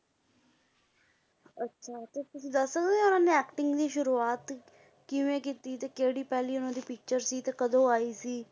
ਅੱਛਾ ਤੇ ਤੁਸੀਂ ਦੱਸ ਸਕਦੇ ਹੋ ਉਹਨੇ acting ਦੀ ਸ਼ੁਰੂਆਤ ਕਿਵੇਂ ਕੀਤੀ ਤੇ ਕਿਹੜੀ ਪਹਿਲੀ ਉਹਨਾਂ ਦੀ picture ਸੀ ਤੇ ਕਦੋਂ ਆਈ ਸੀ।